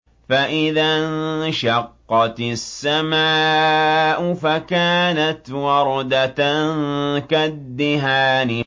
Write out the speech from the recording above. فَإِذَا انشَقَّتِ السَّمَاءُ فَكَانَتْ وَرْدَةً كَالدِّهَانِ